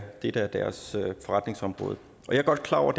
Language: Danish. det der er deres forretningsområde jeg er godt klar over